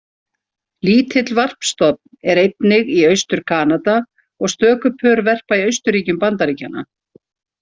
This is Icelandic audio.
Lítill varpstofn er einnig í Austur-Kanada og stöku pör verpa í austurríkjum Bandaríkjanna.